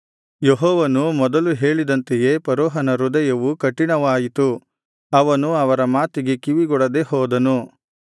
ಯೆಹೋವನು ಮೊದಲು ಹೇಳಿದಂತೆಯೇ ಫರೋಹನ ಹೃದಯವು ಕಠಿಣವಾಯಿತು ಅವನು ಅವರ ಮಾತಿಗೆ ಕಿವಿಗೊಡದೆ ಹೋದನು